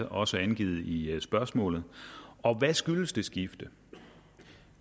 også er angivet i i spørgsmålet og hvad skyldes det skifte